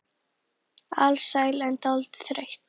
Alsæl en dálítið þreytt.